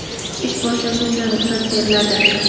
ish boshlashi uchun ruxsat beriladi.